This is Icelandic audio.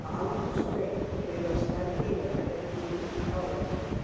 Aldursgreining byggð á stærð dýranna er því lítt áreiðanleg.